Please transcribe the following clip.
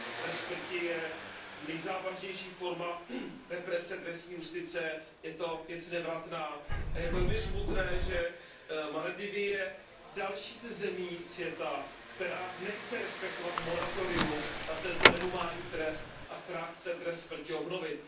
Trest smrti je nejzávažnější forma represe trestní justice, je to věc nevratná a je velmi smutné, že Maledivy jsou další ze zemí světa, která nechce respektovat moratorium na tento nehumánní trest a která chce trest smrti obnovit.